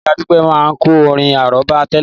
Ìyá Dupe máa ń kọ orin àrọ́bá tẹ́lẹ̀